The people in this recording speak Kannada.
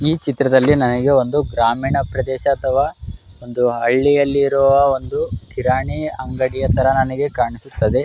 ಈ ಚಿತ್ರದಲ್ಲಿ ನನಗೆ ಒಂದು ಗ್ರಾಮೀಣ ಪ್ರದೇಶ ಅಥವಾ ಒಂದು ಹಳ್ಳಿಯಲ್ಲಿ ಇರುವ ಒಂದು ಕಿರಾಣಿ ಅಂಗಡಿ ತರ ನನಗೆ ಕಾಣಿಸುತ್ತಿದೆ .